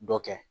Dɔ kɛ